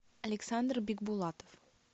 александр бикбулатов